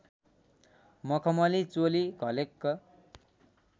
मखमली चोली घलेक्क